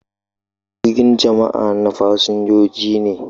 Jirgin jama'a na fasinjoji ne.